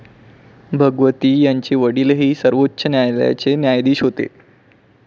भगवती यांचे वडीलही सर्वोच्च न्यायालयाचे न्यायाधीश होते.